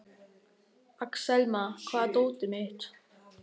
Axelma, hvar er dótið mitt?